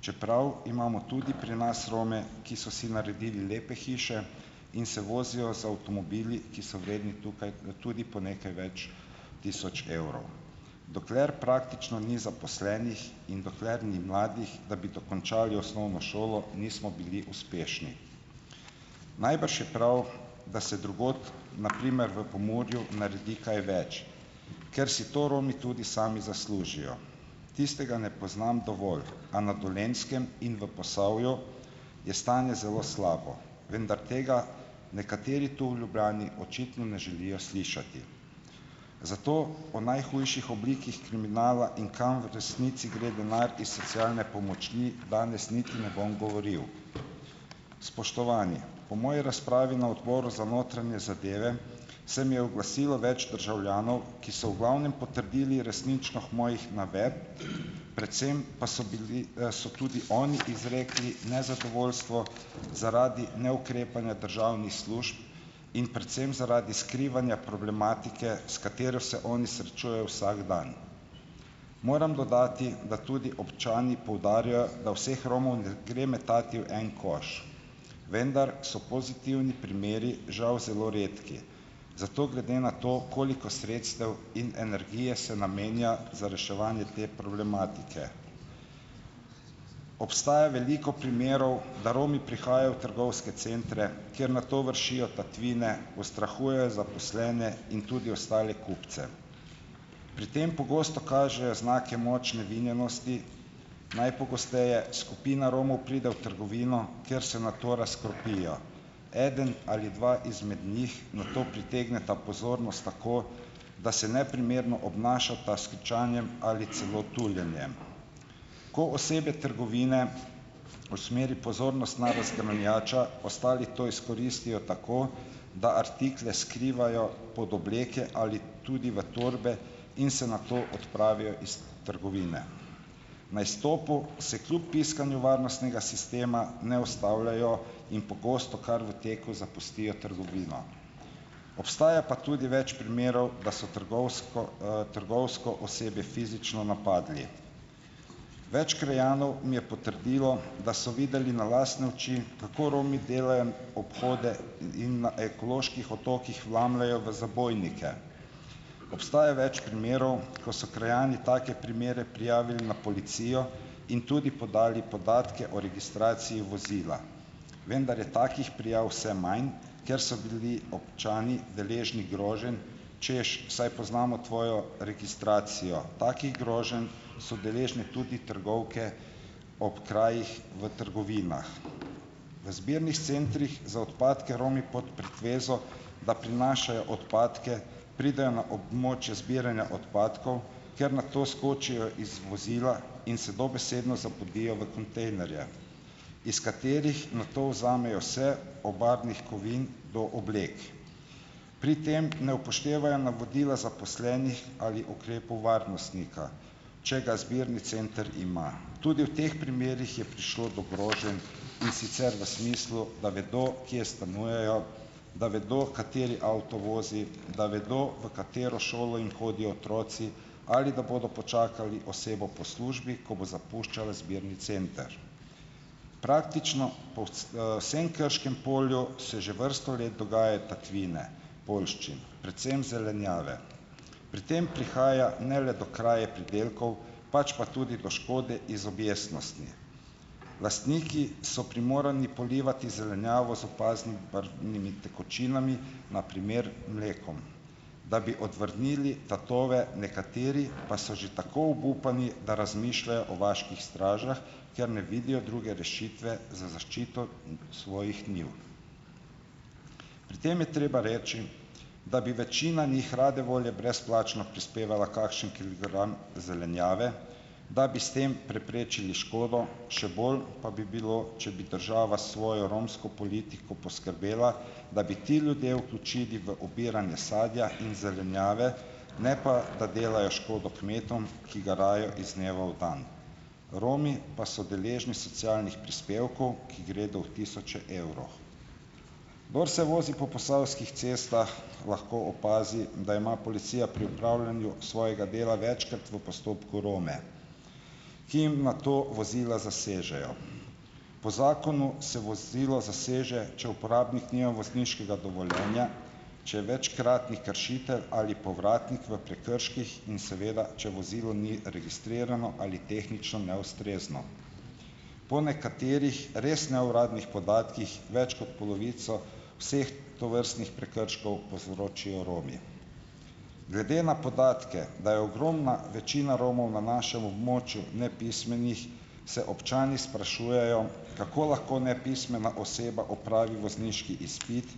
čeprav imamo tudi pri nas Rome, ki so si naredili lepe hiše in se vozijo z avtomobili, ki so vredni tukaj tudi po nekaj več tisoč evrov. Dokler praktično ni zaposlenih in dokler ni mladih, da bi dokončali osnovno šolo, nismo bili uspešni. Najbrž je prav, da se drugod, na primer v Pomurju naredi kaj več, ker si to Romi tudi sami zaslužijo. Tistega ne poznam dovolj, a na Dolenjskem in v Posavju je stanje zelo slabo, vendar tega nekateri tu v Ljubljani očitno ne želijo slišati. Zato po najhujših oblikah kriminala in kam v resnici gre denar iz socialne pomoči, danes niti ne bom govoril. Spoštovani, po moji razpravi na odboru za notranje zadeve se mi je oglasilo več državljanov, ki so v glavnem potrdili resničnost mojih navedb, predvsem pa so bili, so tudi oni izrekli nezadovoljstvo zaradi neukrepanja državnih služb in predvsem zaradi skrivanja problematike, s katero se oni srečujejo vsak dan. Moram dodati, da tudi občani poudarjajo, da vseh Romov ne gre metati v en koš, vendar so pozitivni primeri žal zelo redki, zato glede na to, koliko sredstev in energije se namenja za reševanje te problematike. Obstaja veliko primerov, da Romi prihajajo v trgovske centre, kjer nato vršijo tatvine, ustrahujejo zaposlene in tudi ostale kupce. Pri tem pogosto kažejo znake močne vinjenosti, najpogosteje skupina Romov pride v trgovino, kjer se nato razkropijo. Eden ali dva izmed njih nato pritegneta pozornost tako, da se neprimerno obnašata s kričanjem ali celo tuljenjem. Ko osebje trgovine usmeri pozornost na razgrajača, ostali to izkoristijo tako, da artikle skrivajo pod obleke ali tudi v torbe in se nato odpravijo iz trgovine. Na izstopu se kljub piskanju varnostnega sistema ne ustavljajo in pogosto kar v teku zapustijo trgovino. Obstaja pa tudi več primerov, da so trgovsko, trgovsko osebje fizično napadli. Več krajanov mi je potrdilo, da so videli na lastne oči, kako Romi delajo obhode in na ekoloških otokih vlamljajo v zabojnike. Obstaja več primerov, ko so krajani take primere prijavili na policijo in tudi podali podatke o registraciji vozila. Vendar je takih prijav vse manj, ker so bili občani deležni groženj, češ, saj poznamo tvojo registracijo. Takih groženj so deležne tudi trgovke ob krajih, v trgovinah. V zbirnih centrih za odpadke Romi pod pretvezo, da prinašajo odpadke, pridejo na območje zbiranja odpadkov, kjer nato skočijo iz vozila in se dobesedno zapodijo v kontejnerje, iz katerih nato vzamejo vse, od barvnih kovin do oblek. Pri tem ne upoštevajo navodila zaposlenih ali ukrepov varnostnika, če ga zbirni center ima. Tudi v teh primerih je prišlo do groženj in sicer v smislu, da vedo, kje stanujejo, da vedo, kateri avto vozi, da vedo, v katero šolo jim hodijo otroci, ali da bodo počakali osebo po službi, ko bo zapuščala zbirni center. Praktično po vsem Krškem polju se že vrsto let dogajajo tatvine poljščin, predvsem zelenjave. Pri tem prihaja ne le do kraje pridelkov, pač pa tudi do škode iz objestnosti. Lastniki so primorani polivati zelenjavo z opaznimi barvnimi tekočinami, na primer mlekom, da bi odvrnili tatove, nekateri pa so že tako obupani, da razmišljajo o vaških stražah, ker ne vidijo druge rešitve za zaščito svojih njiv. Pri tem je treba reči, da bi večina njih rade volje brezplačno prispevala kakšen kilogram zelenjave, da bi s tem preprečili škodo, še bolj pa bi bilo, če bi država s svojo romsko politiko poskrbela, da bi te ljudi vključili v obiranje sadja in zelenjave, ne pa da delajo škodo kmetom, ki garajo iz dneva v dan, Romi pa so deležni socialnih prispevkov, ki gredo v tisoče evrov. Kdor se vozi po posavskih cestah, lahko opazi, da ima policija pri opravljanju svojega dela večkrat v postopku Rome, ki jim nato vozila zasežejo. Po zakonu se vozilo zaseže, če uporabnik nima vozniškega dovoljenja, če je večkratni kršitelj ali povratnik v prekrških in seveda če vozilo ni registrirano ali tehnično neustrezno. Po nekaterih res neuradnih podatkih več kot polovico vseh tovrstnih prekrškov povzročijo Romi. Glede na podatke, da je ogromna večina Romov na našem območju nepismenih, se občani sprašujejo, kako lahko nepismena oseba opravi vozniški izpit,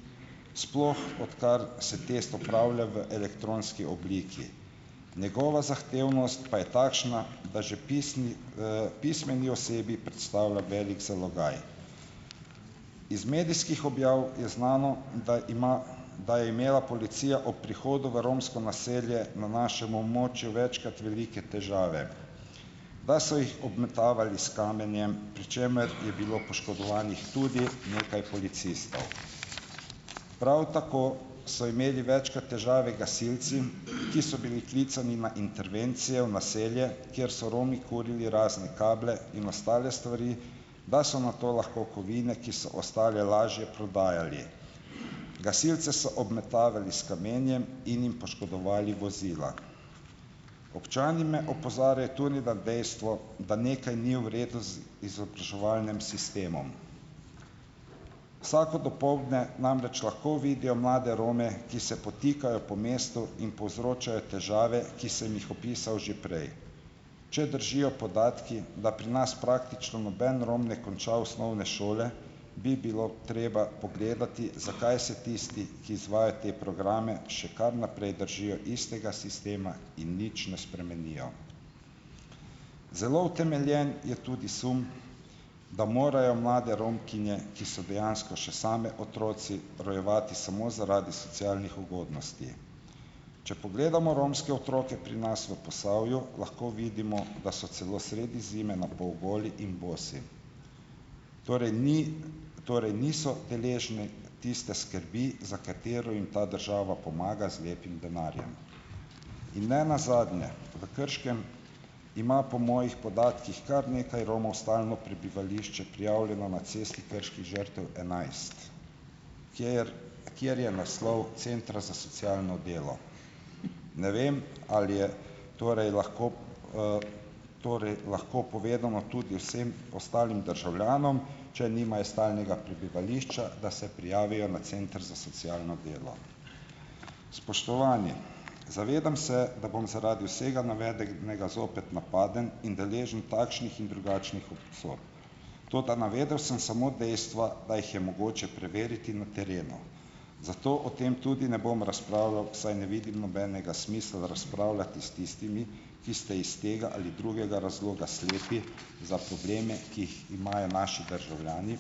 sploh odkar se test opravlja v elektronski obliki. Njegova zahtevnost pa je takšna, da že pismeni osebi predstavlja velik zalogaj. Iz medijskih objav je znano, da ima, da je imela policija ob prihodu v romsko naselje na našem območju večkrat velike težave, da so jih obmetavali s kamenjem, pri čemer je bilo poškodovanih tudi nekaj policistov. Prav tako so imeli večkrat težave gasilci, ki so bili klicani na intervencijo v naselje, kjer so Romi kurili razne kable in ostale stvari, da so nato lahko kovine, ki so ostale, lažje prodajali. Gasilce so obmetavali s kamenjem in jim poškodovali vozila. Občani me opozarjajo tudi na dejstvo, da nekaj ni v redu z izobraževalnem sistemom. Vsako dopoldne namreč lahko vidijo mlade Rome, ki se potikajo po mestu in povzročajo težave, ki sem jih opisal že prej. Če držijo podatki, da pri nas praktično noben Rom ne konča osnovne šole, bi bilo treba pogledati, zakaj se tisti, ki izvajajo te programe, še kar naprej držijo istega sistema in nič ne spremenijo. Zelo utemeljen je tudi sum, da morajo mlade Romkinje, ki so dejansko še same otroci, rojevati samo zaradi socialnih ugodnosti. Če pogledamo romske otroke pri nas v Posavju, lahko vidimo, da so celo sredi zime na pol goli in bosi. Torej torej niso deležne tiste skrbi, za katero jim ta država pomaga z lepim denarjem. In ne nazadnje v Krškem ima po mojih podatkih kar nekaj Romov stalno prebivališče prijavljeno na Cesti krških žrtev enajst, kjer kjer je naslov centra za socialno delo. Ne vem, ali je torej lahko, torej lahko povedano tudi vsem ostalim državljanom, če nimajo stalnega prebivališča, da se prijavijo na center za socialno delo. Spoštovani! Zavedam se, da bom zaradi vsega navedenega zopet napaden in deležen takšnih in drugačnih obsodb, toda navedel sem samo dejstva, da jih je mogoče preveriti na terenu, zato o tem tudi ne bom razpravljal, saj ne vidim nobenega smisla razpravljati s tistimi, ki ste iz tega ali drugega razloga slepi za probleme, ki jih imajo naši državljani,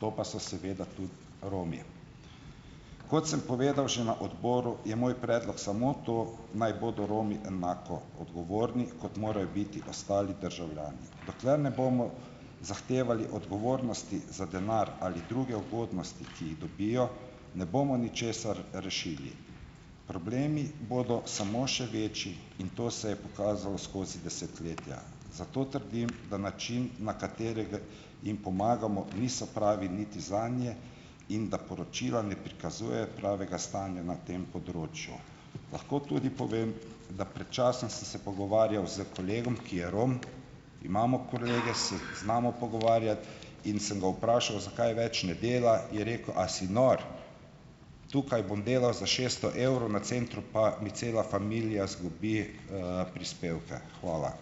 to pa so seveda tudi Romi. Kot sem povedal že na odboru, je moj predlog samo to, naj bodo Romi enako odgovorni, kot morajo biti ostali državljani. Dokler ne bomo zahtevali odgovornosti za denar ali druge ugodnosti, ki jih dobijo, ne bomo ničesar rešili. Problemi bodo samo še večji in to se je pokazalo skozi desetletja, zato trdim, da način, na katerega jim pomagamo, niso pravi niti zanje in da poročila ne prikazujejo pravega stanja na tem področju. Lahko tudi povem, da pred časom sem se pogovarjal s kolegom, ki je Rom, imamo kolege, se znamo pogovarjati, in sem ga vprašal, zakaj več ne dela, je rekel: "A si nor?" Tukaj bom delal za šeststo evrov, na centru pa mi cela familija izgubi, prispevke. Hvala.